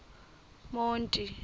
monti